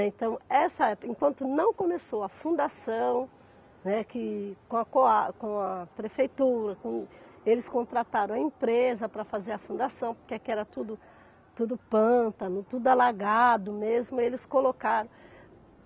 Então, essa época, enquanto não começou a fundação, né, que com a com a com a prefeitura, com eles contrataram a empresa para fazer a fundação, porque aqui era tudo tudo pântano, tudo alagado mesmo, eles colocaram.